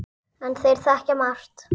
En þeir þekkja margt.